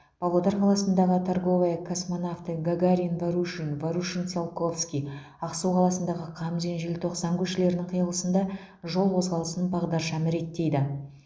павлодар қаласындағы торговая космонавты гагарин ворушин ворушин циолковский ақсу қаласындағы қамзин желтоқсан көшелерінің қиылысында жол қозғалысын бағдаршам реттейді